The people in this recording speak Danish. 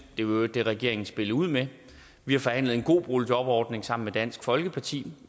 i øvrigt det regeringen spillede ud med vi har forhandlet en god boligjobordning sammen med dansk folkeparti